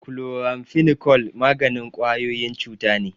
Chloramphenicol maganin ƙwayoyin cuta ne.